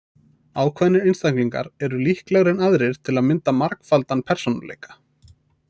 Ákveðnir einstaklingar eru líklegri en aðrir til að mynda margfaldan persónuleika.